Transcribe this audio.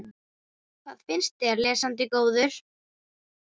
Hvað finnst þér, lesandi góður?